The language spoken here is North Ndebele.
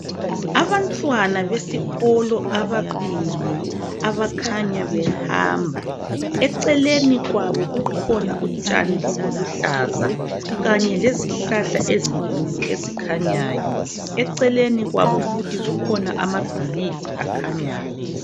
Abantwana besikolo ababili abakhanya behamba eceleni kwabo kukhona utshani obuluhlaza kanye lezihlahla ezinkulu ezikhanyayo eceleni kwabo futhi kukhona amabhilidi akhanyayo.